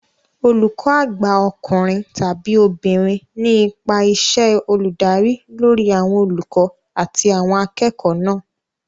Olùkó àgbà ọkùnrin/obìnrin ní ipa iṣẹ́ olùdarí lórí àwọn olùkọ́ àti àwọn akẹ́kọ̀ọ́ náà